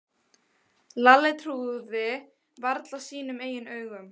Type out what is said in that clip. Lalli trúði varla sínum eigin augum.